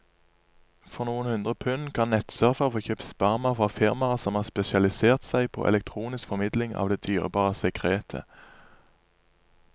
For noen hundre pund kan nettsurfere få kjøpt sperma fra firmaer som har spesialisert seg på elektronisk formidling av det dyrebare sekretet.